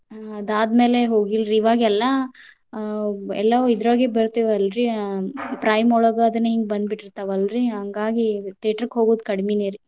ಅದಾದ್ಮ್ಯಾಲೆ ಹೋಗಿಲ್ರಿ. ಇವಾಗೆಲ್ಲಾ ಆ ಎಲ್ಲಾಇದ್ರಾಗೆ ಬರ್ತಾವಲ್ರಿ ಅ prime . ಒಳಗ್ ಅದ್ ಬಂದ ಬಿಟ್ಟಿರ್ತಾವಲ್ರಿ ಹಾಂಗಾಗಿ theater ಹೋಗುದ್ ಕಡ್ಮಿನೇ ರೀ.